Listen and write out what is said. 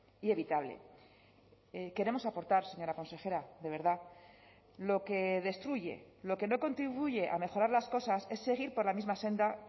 y evitable queremos aportar señora consejera de verdad lo que destruye lo que no contribuye a mejorar las cosas es seguir por la misma senda